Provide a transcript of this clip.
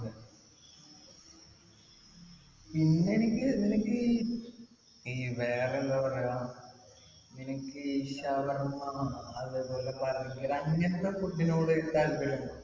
പിന്നെ എനിക്ക് നിനക്ക് ഈ ഈ വേറെ എന്താ പറയാ നിനക്ക് ഈ ഷവർമ അതേപോലെ ബർഗർ ഇങ്ങനത്തെ food നോട് താല്പര്യണ്ടോ